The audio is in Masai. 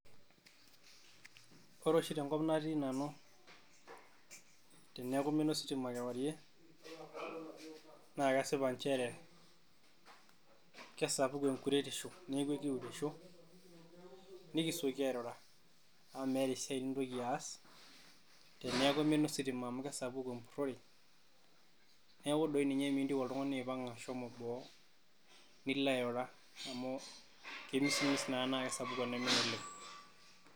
Ore oshi te nkop natii Nanu teneeku eimina ositima kewarie, naa keshipa nchere kesapuk enkuretisho nikisioki airura amu meeta esiai nintoki aas teneeku eimina ositima amu kesapuku empurrore neaku toi ninye miintiu oltung'ani aipang'a ashomo boo Nilo airura amu kemismis naa naa kesapuk enaimin oleng'.